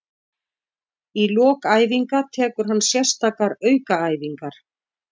Í lok æfinga tekur hann sérstakar aukaæfingar.